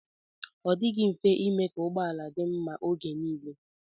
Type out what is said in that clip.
Ọ dịghị mfe ime ka ụgbọala dị mma oge nile.